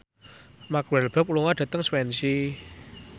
Mark Walberg lunga dhateng Swansea